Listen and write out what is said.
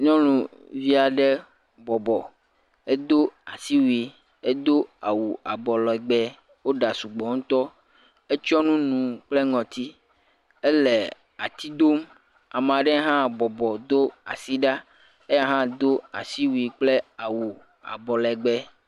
Nyɔnuvi aɖe bɔbɔ. Edo asiwui. Edo awu abɔlɛgbɛ, wo ɖa sugbɔ ŋutɔ. Etsyɔ nu nu kple ŋɔti, ele ati dom. Amaa ɖe hã bɔbɔ do asi ɖa, eya hã do asiwui kple awu abɔlɛgbɛ.